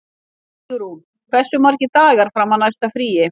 Stígrún, hversu margir dagar fram að næsta fríi?